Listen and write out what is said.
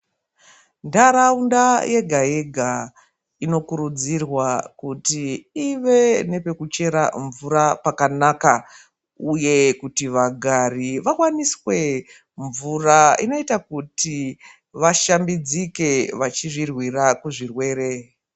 Ntaraunda yega-yega inokurudzirwa kuti ive nepekuchera mvura pakanaka uye kuti vagari vawaniswe mvura inoita kuti vashambidzike, vachizvirwira kuzvirwere.